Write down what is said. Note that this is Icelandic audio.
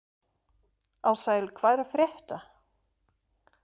Ársæl, hvað er að frétta?